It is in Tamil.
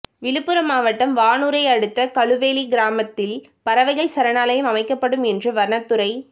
விழுப்புரம் மாவட்டம் வானூரை அடுத்த கழுவெளி கிராமத்தில் பறவைகள் சரணாலயம் அமைக்கப்படும் என்று வனத்துறை